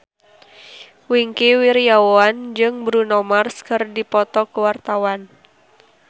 Wingky Wiryawan jeung Bruno Mars keur dipoto ku wartawan